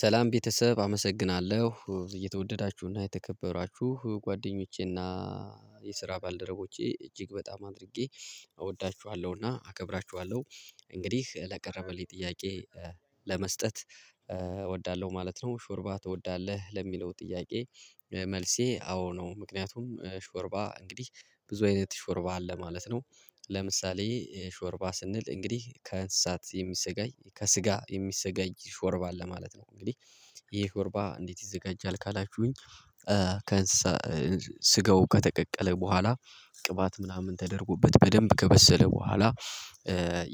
ሰላም ቤተሰብ አመሰግናለሁ የተወደዳችሁና የተከበራችሁ ጓደኞቼና የስራ ባልደረቦቼ እጅግ በጣም አድርጌ እወዳችኋለሁና አከብራችኋለሁ። እንግዲህ ለቀረበልኝ ጥያቄ ለመስጠት እወዳለሁ ማለት ነው። ሾርባ ትወዳለህ ለሚለው ጥያቄ? መልሴ አዎ ነው ምክንያቱም ሾርባ እንግዲህ ብዙ አይነት ሾርባ አለ ማለት ነው። ለምሳሌ ሾርባ ስንል እንግዲህ ከእንስሳት የሚሰጋጅ ከስጋ የሚሰጋጀ ሾርባ አለ ማለት ነው እንግዲህ ይሄ ሾርባ እንዴት ይዘጋጃል ካላችሁኝ? ከእንስሳ ስጋው ከተቀቀለ በኋላ ቅባት ምናምን ተደርጎበት በደንብ ከበሰለ በኋላ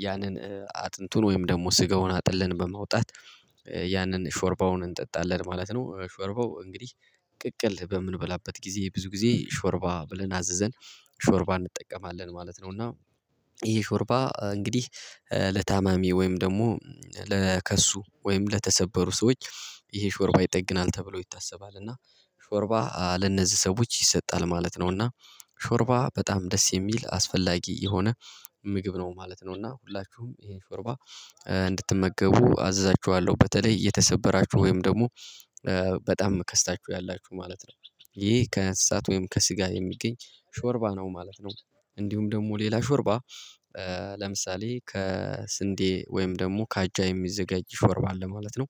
ያንን አጥንቱን ወይም ደግሞ ስጋውን አጥልን በማውጣት ያንን ሾርባውን እንጠጣለን ማለት ነው። ሾርባው እንግዲህ ቅቅል በምንበላበት ጊዜ ብዙ ጊዜ ሾርባ ብለን አዘዘን ሾርባ እንጠቀማለን ማለት ነው። እና ይሄ ሾርባ እንግዲህ ለታማሚ ወይም ደግሞ ለከሱ ወይም ለተሰበሩ ሰዎች ይሄ ሾርባ ይጠግናል ተብሎ ይታሰባል እና ሾርባ ለነዚህ ሰዎች ይሰጣል ማለት ነው። እና ሾርባ በጣም ደስ የሚል አስፈላጊ የሆነ ምግብ ነው ማለት ነው። እና ሁላችሁም ይሄን ሾርባ እንድትመገቡ አዝዛችኋለሁ በተለይ የተሰበራችሁ ወይም ደግሞ በጣም ከስታችሁ ያላችሁ ማለት ነው። ይሄ ከእንሰታት ወይም ከስጋ የሚገኝ ሾርባ ነው ማለት ነው። እንዲሁም ደግሞ ሌላ ሾርባ ለምሳሌ ከስንዴ ወይም ደግሞ ከአጃ የሚዘጋጅ ሾርባ አለ ማለት ነው።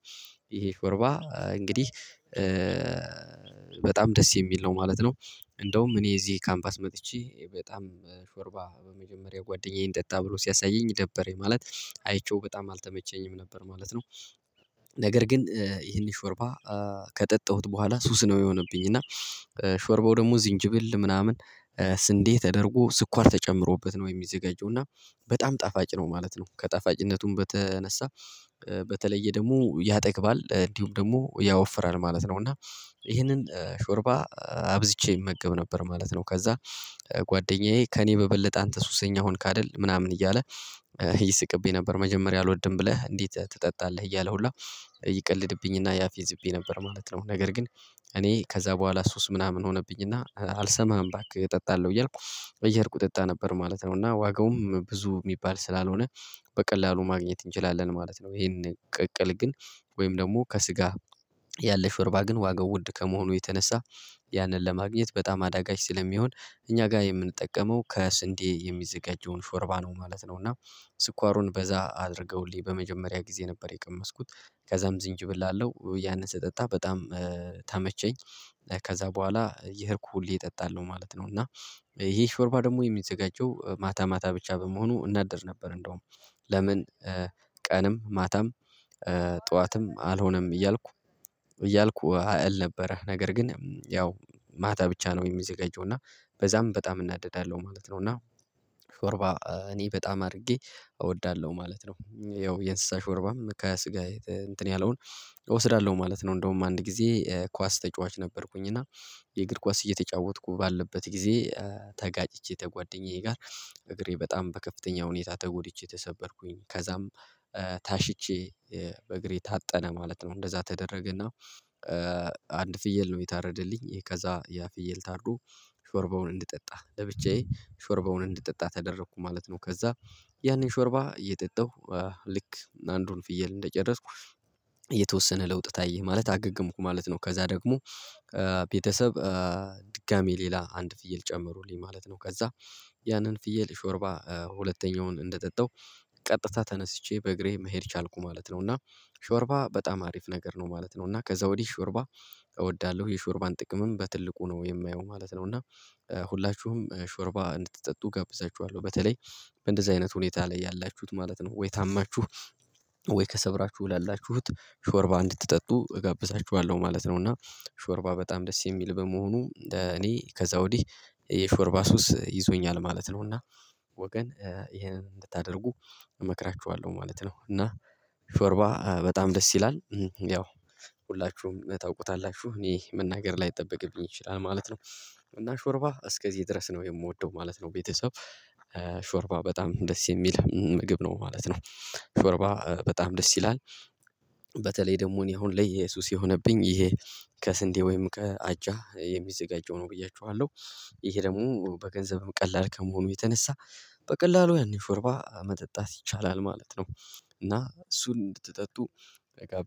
ይሄ ሾርባ እንግዲህ በጣም ደስ የሚል ነው ማለት ነው። እንደውም እኔ እዚህ ካምፓስ መጥቼ በጣም ሾርባ የመጀመሪያ ጓደኛዬ እንጠጣ ብሎ ሲያሳየኝ ደበረኝ ማለት አይቼው በጣም አልተመቸኝም ነበር ማለት ነው። ነገር ግን ይሄን ሾርባ ከጠጠሁት በኋላ ሱስ ነው የሆነብኝ እና ሾርቦ ደግሞ ዝንጅብል ምናምን ስንዴ ተደርጎ ስኳር ተጨምሮበት ነው የሚዘጋጀው እና በጣም ጣፋጭ ነው ማለት ነው። ከጣፋጭነቱም በተነሳ በተለየ ደግሞ ያጠግባል እንዲሁም ደግሞ ያወፍራል ማለት ነው እና ይሄንን ሾርባ አብዝቼ እመገብ ነበር ማለት ነው። ከዛ ጓደኛዬ ከእኔ በበለጠ አንተ ሱሰኛ ሆንክ አይደል ምናምን እያለ ይስቅብኝ ነበር መጀመሪያ አልወድም ብለህ እንዴት ትጠጣለህ እያለ ሁላ ይቀልድብኝና ያፌዝብኝ ነበር ማለት ነው። ነገር ግን እኔ ከዛ በኋላ ሱስ ምናምን ሆነብኝና አልሰማህም ባክህ እጠጣለሁ እያልኩ እየሄድኩ እጠጣ ነበር ማለት ነው። እና ዋጋውም ብዙ የሚባል ስላልሆነ በቀላሉ ማግኘት እንችላለን ማለት ነው። ይሄንን ቅቅል ግን ወይም ደግሞ ከስጋ ያለ ሾርባ ግን ዋጋው ውድ ከመሆኑ የተነሳ ያንን ለማግኘት በጣም አዳጋች ስለሚሆን እኛ ጋር የምንጠቀመው ከስንዴ የሚዘጋጀውን ሾርባ ነው ማለት ነው። እና ስኳሩን በዛ አድርገውልኝ በመጀመሪያ ጊዜ ነበር የቀመስኩት ከዛም ዝንጅብል አለው ያንን ስጠጣ በጣም ተመቸኝ። ከዛ በኋላ እየሄደክ ሁሌ እጠጣለሁ ማለት ነው። እና ይሄ ሾርባ ደግሞ የሚዘጋጀው ማታ ማታ ብቻ በመሆኑ እናደድ ነበር እንደውም ለምን? ቀንም ማታም ጠዋትም አልሆነም እያልኩ እያልኩ እል ነበረ ነገር ግን ያው ማታ ብቻ ነው የሚዘጋጁና በዛም በጣም እናደዳለሁ ማለት ነው። እና ሾርባ እኔ በጣም አድርጌ እወዳለሁ ማለት ነው። ያው የእንስሳ ሾርባም ከስጋ እንትን ያለውን እወስዳለሁ ማለት ነው። እንደውም አንድ ጊዜ ኳስ ተጫዋች ነበርኩኝ እና የእግር ኳስ እየተጫወትኩ ባለበት ጊዜ ተጋጭቼ ተጓደኛዬ ጋር እግሬ በጣም በከፍተኛ ሁኔታ ተጎድቼ ተሰበርኩኝ ከዛም ታሽቼ በእግሬ ታጠነ ማለት ነው እንደዛ ተደረገና አንድ ፍየል ነው የታረደልኝ ከዛ ያ ፍየል ታርዶ ሾርቦውን እንድጠጣ ለብቻዬ ሾርባውን እንድጠጣ ተደረኩ ማለት ነው። ከዛ ያኔን ሾርባ እየጠጣሁ ልክ አንዱን ፍየል እንደጨረስኩ የተወሰነ ለውጥ ታየህ ማለት አገገምኩ ማለት ነው። ከዛ ደግሞ ቤተሰብ ድጋሜ ሌላ አንድ ፍየል ጨምሩልኝ ማለት ነው። ከዛ ያንን ፍየል ሾርባ ሁለተኛውን እንደጠጣው ቀጥታ ተነስቼ በእግሬ መሄድ ቻልኩ ማለት ነው። እና ሾርባ በጣም አሪፍ ነገር ነው ማለት ነው። እና ከዛ ወዲህ ሾርባ እወዳለሁ የሾርባን ጥቅምም በትልቁ ነው የማየው ማለት ነው። እና ሁላችሁም ሾርባ እንድትጠጡ ጋብዛችኋለሁ በተለይ በእንደዚህ አይነት ሁኔታ ላይ ያላችሁት ማለት ነው ወይ ታማችሁ ወይ ከሰበራችሁ ላላችሁት ሾርባ እንድትጠጡ እጋብዛችኋለሁ ማለት ነው። እና ሾርባ በጣም ደስ የሚል በመሆኑ እኔ ከዛ ወዲህ የሾርባ ሱስ ይዞኛል ማለት ነው። እና ወገን ይሄንን እንድታደርጉ እመክራችኋለሁ ማለት ነው። እና ሾርባ በጣም ደስ ይላል ያው ሁላችሁም ታውቁታላችሁ እኔ መናገር ላይጠበቅብኝ ይችላል ማለት ነው። እና ሾርባ እስከዚህ ድረስ ነው የምወደው ማለት ነው። ቤተሰብ ሾርባ በጣም ደስ የሚል ምግብ ነው ማለት ነው። ሾርባ በጣም ደስ ይላል በተለይ ደግሞ እኔ አሁን ላይ ሱስ የሆነብኝ ይሄ ከስንዴ ወይም ከአጃ የሚዘጋጀው ነው ብያችኋለሁ። ይሄ ደግሞ በገንዘብም ቀላል ከመሆኑ የተነሳ በቀላሉ ያንን ሾርባ መጠጣት ይቻላል ማለት ነው። እና እሱን እንድትጠጡ